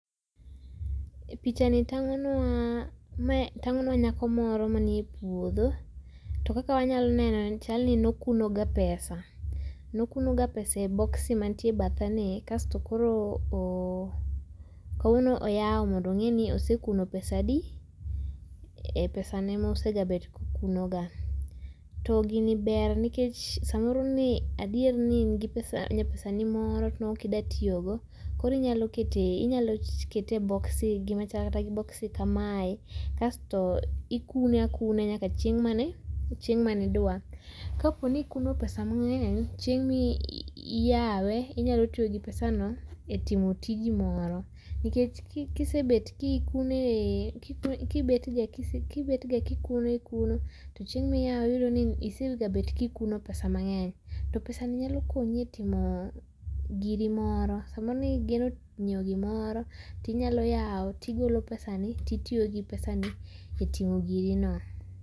Pichani tangonwa, tangonwa, ma en nyako moro manie puodho to kaka wanyalo neno chaloni ne okuno ga pesa, nokuno ga pesa e [ccs]boxi mantie bathe ni kasto koro oo kawuono oyaw mondo ongini osekuno pesa adi e pesane mosebedo ka okuno ga, tto gini ber nikech samoro ni adier ne ingi nyapesani moro to ne ok idwa tiyogo, koro inyalo kete, inyalo kete e boxi[csc], gima chal kata gi boxi kamae kasto ikune akuna nyaka chieng mane, chieng’ mane idwa. Kaponi ikuno pesa mangeny chieng’ ma iyawe inyalo tiyo gi pesa no e timotiji moro. Nikech kisebet kikune, kikune, kibet ga ka ikuno ikuno to chieng’ ma iyawe iyudo ni isebet ka ikuno pesa mangeny to pesani nyalo konyi e timo giri moro, samoro nigeno nyiew gimoro tinyalo yao tigolo pesa ni titiyo gi pesani e timo giri no